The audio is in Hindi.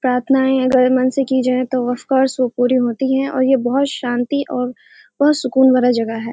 प्रार्थनाए अगर मन से किया जाए तो ऑफकोर्स वो पूरी होती है और ये बहुत ही शांति और बहुत सुकून वाला जगह है।